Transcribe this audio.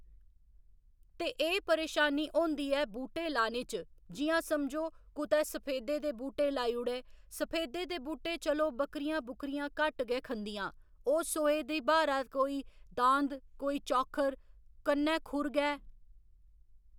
ते एह् परेशानी होंदी ऐ बूह्टे लाने च जि'यां समझो कुतै सफेदे दे बूहटे लाई ओड़े सफेदे दे बूह्टे चलो बकरियां बुकरियां घट्ट गै खंदियां ओह् सोहे दी ब्हारै कोई दांद कोई चौक्खर कन्नै खुर गै